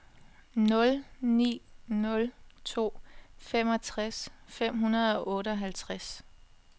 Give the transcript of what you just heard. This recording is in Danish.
nul ni nul to femogtres fem hundrede og otteoghalvtreds